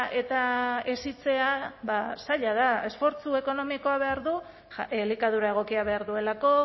eta hezitzea zaila da esfortzu ekonomikoa behar du elikadura egokia behar duelako